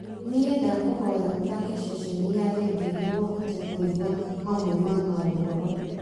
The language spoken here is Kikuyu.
ni ndakũhoya ũthaake ceceni ya rĩndiũ nĩguo hote kũigua mamwe ma maũhoro